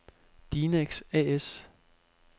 Dinex A/S